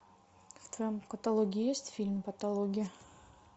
в твоем каталоге есть фильм патология